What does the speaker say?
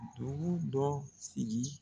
Dugu dɔ sigi